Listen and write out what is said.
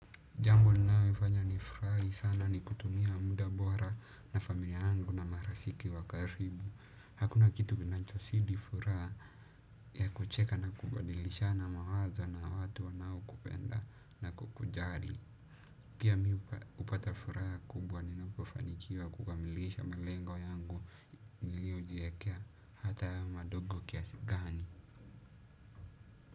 Jambo linalonifanya nifurahi sana ni kutumia muda bora na familia yangu na marafiki wa karibu. Hakuna kitu kinachozidi furaha ya kucheka na kubadilisha na mawazo na watu wanaokupenda na kukujali. Pia mi hupata furaha kubwa ninapo fanikiwa kukamilisha malengo yangu niliyojiwekea hata madogo kiasi gani.